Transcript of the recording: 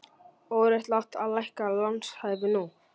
Óréttlátt að lækka lánshæfi nú